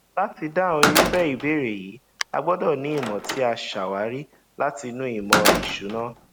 láti dáhùn irúfé ìbéèrè yìí a gbọdọ ni ìmọ tí a ṣàwárí láti inú ìmọ ìsúná